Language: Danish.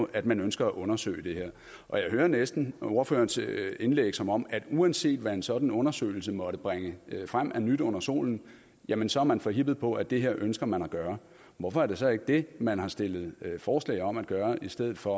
at man ønsker at undersøge det her og jeg hører næsten ordførerens indlæg som om at uanset hvad en sådan undersøgelse måtte bringe frem af nyt under solen jamen så er man forhippet på at det her ønsker man at gøre hvorfor er det så ikke det man har stillet forslag om at gøre i stedet for